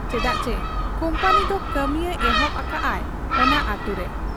ᱪᱮᱫᱟᱜ ᱪᱤ ᱠᱩᱢᱯᱟᱹᱱᱤᱫᱚ ᱠᱟᱹᱢᱤᱭᱮ ᱮᱦᱚᱵ ᱟᱠᱟᱜ ᱟ ᱚᱱᱟ ᱟᱹᱛᱩᱨᱮ ᱾